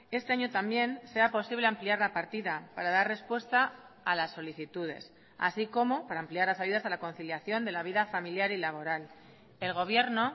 este año también sea posible ampliar la partida para dar respuesta a las solicitudes así como para ampliar las ayudas a la conciliación de la vida familiar y laboral el gobierno